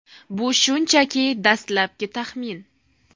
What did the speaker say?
Bu shunchaki dastlabki taxmin.